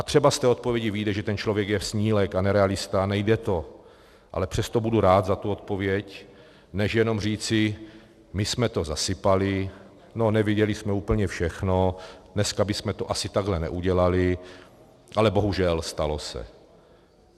A třeba z té odpovědi vyjde, že ten člověk je snílek a ne realista, nejde to, ale přesto budu rád za tu odpověď, než jenom říci: my jsme to zasypali, no, neviděli jsme úplně všechno, dneska bychom to asi takhle neudělali, ale bohužel, stalo se.